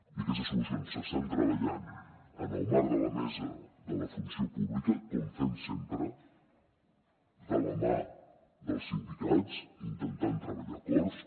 i aquestes solucions s’estan treballant en el marc de la mesa de la funció pública com fem sempre de la mà dels sindicats intentant treballar acords